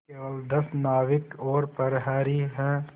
केवल दस नाविक और प्रहरी है